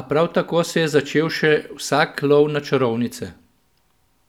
a prav tako se je začel še vsak lov na čarovnice.